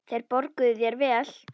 Þeir borguðu þér vel.